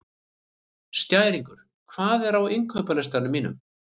Skæringur, hvað er á innkaupalistanum mínum?